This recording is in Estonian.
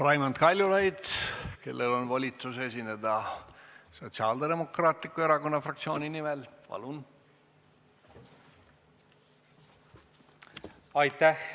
Raimond Kaljulaid, kellel on volitus esineda Sotsiaaldemokraatliku Erakonna fraktsiooni nimel, palun!